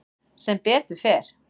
Sem betur fer.